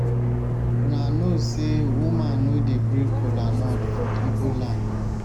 una no say woman no dey break kola nut for igbo land